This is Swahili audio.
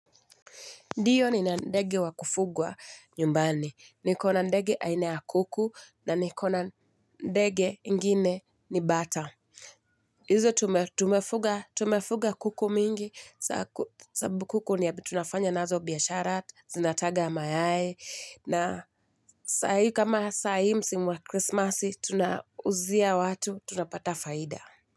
Ndiyo ni na ndege wa kufugwa nyumbani. Nikona ndege aina ya kuku na nikona ndege ingine ni bata. Hizo tumefuga kuku mingi sababu kuku ni ya tunafanya nazo biashara, zinataga mayai na kama sahii msimu wa krismasi tunauzia watu, tunapata faida.